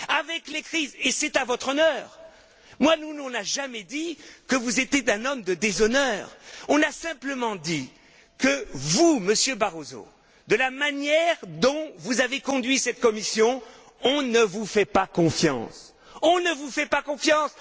Avec les crises, et c'est à votre honneur nous, on n'a jamais dit que vous étiez un homme de déshonneur, on a simplement dit que vous, Monsieur Barroso, voyant la manière dont vous avez conduit cette Commission, on ne vous fait pas confiance.